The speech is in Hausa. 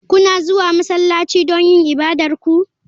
Kuna zuwa masallaci don yin ibadar ku?